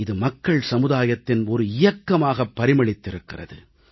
இது மக்கள் சமுதாயத்தின் ஒரு இயக்கமாக பரிமளித்திருக்கிறது